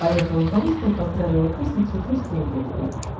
поехала в борисполь поздравила крестницу и просто уехала